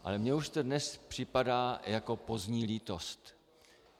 Ale mně už to dnes připadá jako pozdní lítost.